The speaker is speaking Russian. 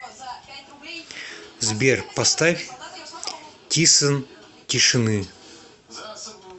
сбер поставь тисон тишины